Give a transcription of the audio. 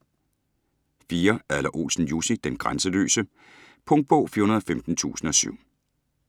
Adler-Olsen, Jussi: Den grænseløse Punktbog 415007